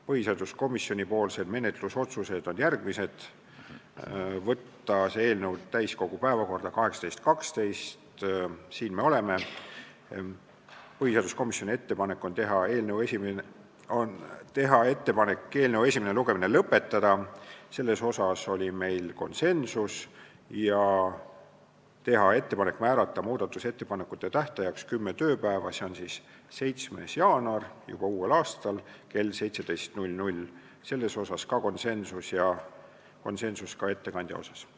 Põhiseaduskomisjoni menetlusotsused on järgmised: saata see eelnõu täiskogu päevakorda 18. detsembriks – siin me oleme –, ettepanek on teha ettepanek eelnõu esimene lugemine lõpetada – selles oli meil konsensus – ja teha ettepanek määrata muudatusettepanekute esitamise tähtajaks kümme tööpäeva, s.o 7. jaanuar juba uuel aastal kell 17, selles oli konsensus ja konsensus oli ka ettekandja asjus.